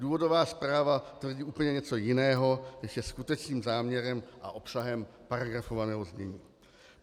Důvodová zpráva tvrdí úplně něco jiného, než je skutečným záměrem a obsahem paragrafovaného znění.